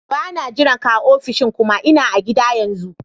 Ba na jiran ka a ofishin kuma. Ina a gida yanzu.